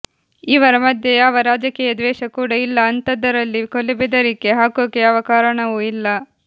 ಇವರ ಮಧ್ಯೆ ಯಾವ ರಾಜಕೀಯ ಧ್ವೇಷ ಕೂಡಾ ಇಲ್ಲಾ ಅಂತದರಲ್ಲಿ ಕೊಲೆಬೆದರಿಕೆ ಹಾಕೊಕೆ ಯಾವ ಕಾರಣಾನೂ ಇಲ್ಲಾ